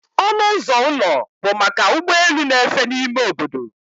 Ọnụ ụzọ ụlọ bụ maka ụgbọ elu na-efe n'ime obodo